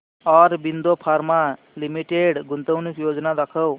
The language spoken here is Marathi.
ऑरबिंदो फार्मा लिमिटेड गुंतवणूक योजना दाखव